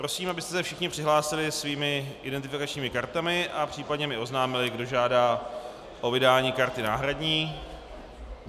Prosím, abyste se všichni přihlásili svými identifikačními kartami a případně mi oznámili, kdo žádá o vydání karty náhradní.